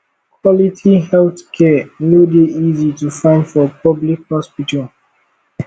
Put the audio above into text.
quality healthcare no dey easy to find for public hospital